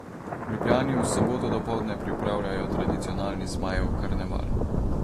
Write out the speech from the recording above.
V Ljubljani v soboto dopoldne pripravljajo tradicionalni Zmajev karneval.